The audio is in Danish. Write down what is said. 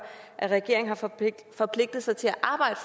at regeringen har forpligtet forpligtet sig til